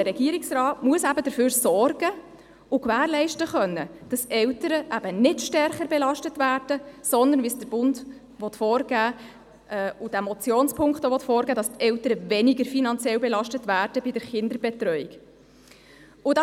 Der Regierungsrat muss dafür sorgen und gewährleisten können, dass Eltern bei der Kinderbetreuung finanziell eben nicht stärker, sondern weniger stark belastet werden, wie das der Bund und dieser Motionspunkt vorgeben wollen.